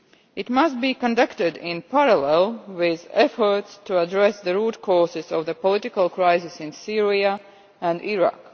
It must be conducted in parallel with efforts to address the root causes of the political crisis in Syria and Iraq.